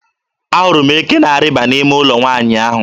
Ahụrụ m eke na-arịba n'ime ụlọ nwaanyị ahụ.